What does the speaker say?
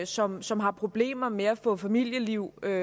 som som har problemer med at få familieliv og